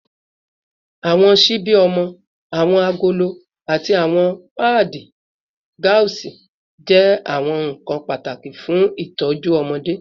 Awọn ṣibi ọmọ, awọn agolo, ati awọn paadi gauze jẹ awọn nkan pataki fun itọju ọmọde